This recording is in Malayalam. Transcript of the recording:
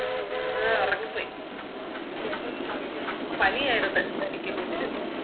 ഉം ഒറങ്ങിപ്പോയി പണിയാരുന്ന് എനിക്കും കുഞ്ഞിനും